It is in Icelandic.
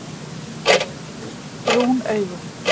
Brún augu